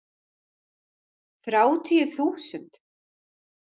Þrjátíu þúsund!